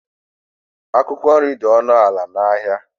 Akwụkwọ nri dị ọnụ ala n’ahịa